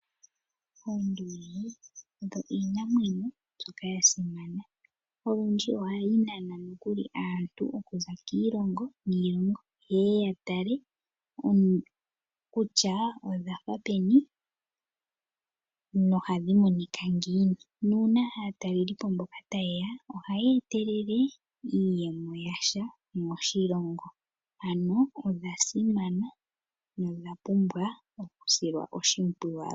Oonduli odho iinamwenyo mbyoka ya simana, olundji ohayi nana nokuli aantu okuza kiilongo niilongo. Yeye ya tale kutya odhafa peni nohadhi monika ngiini. Nuuna aatalelipo mboka ta yeya, ohaya etelele iiyemo yasha moshilongo. Ano odha simana nodha pumwa okusilwa oshimpwiyu.